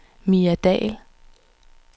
Mia Dahl